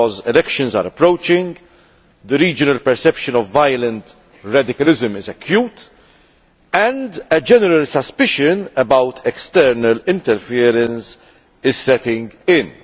Because elections are approaching, the regional perception of violent radicalism is acute and a general suspicion about external interference is setting in.